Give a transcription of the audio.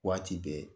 Waati bɛɛ